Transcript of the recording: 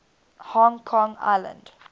hong kong island